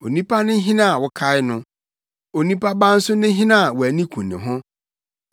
onipa ne hena a wokae no, na onipa ba nso ne hena a wʼani ku ne ho?